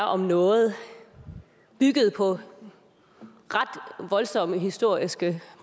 om noget på ret voldsomme historiske